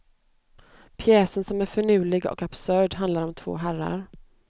Pjäsen som är finurlig och absurd handlar om två herrar.